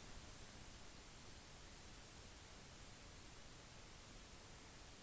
for geologisk aktivitet